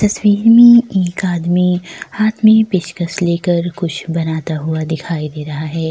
तस्वीर में एक आदमी हाथ में पेंचकस लेकर कुछ बनाता हुआ दिखाई दे रहा है।